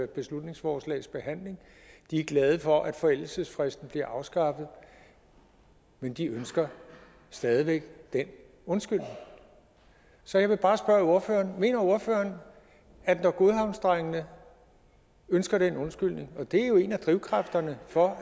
beslutningsforslags behandling de er glade for at forældelsesfristen bliver afskaffet men de ønsker stadig væk den undskyldning så jeg vil bare spørge ordføreren mener ordføreren at når godhavnsdrengene ønsker den undskyldning og det er jo en af drivkræfterne for